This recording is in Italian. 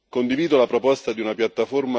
Dobbiamo lavorare sulla prevenzione.